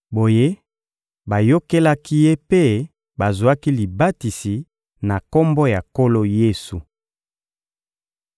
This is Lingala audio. Boye, bayokelaki ye mpe bazwaki libatisi na Kombo ya Nkolo Yesu.